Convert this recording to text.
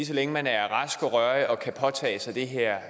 så længe man er rask og rørig og kan påtage sig det her